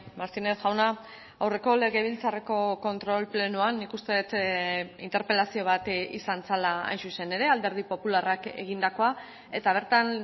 martínez jauna aurreko legebiltzarreko kontrol plenoan nik uste dut interpelazio bat izan zela hain zuzen ere alderdi popularrak egindakoa eta bertan